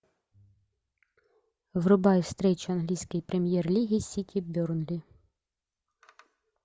врубай встречу английской премьер лиги сити бернли